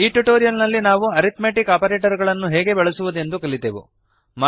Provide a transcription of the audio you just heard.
ಈ ಟ್ಯುಟೋರಿಯಲ್ ನಲ್ಲಿ ನಾವು ಅರಿಥ್ಮೆಟಿಕ್ ಆಪರೇಟರ್ ಗಳನ್ನು ಹೇಗೆ ಬಳಸುವುದೆಂದು ಕಲಿತೆವು